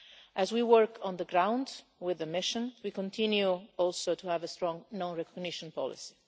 As we work on the ground with the mission, we continue, also, to have a strong non recognition policy.